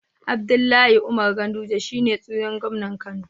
Abdullahi Umar ganduje shine tsihon gomnan kano